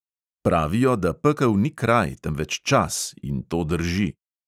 Pravijo, da pekel ni kraj, temveč čas, in to drži.